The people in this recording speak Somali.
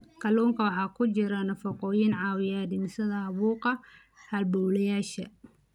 Kalluunka waxaa ku jira nafaqooyin caawiya dhimista caabuqa halbowlayaasha.